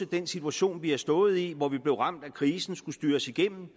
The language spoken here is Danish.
den situation vi har stået i hvor vi blev ramt af krisen og skulle styre os igennem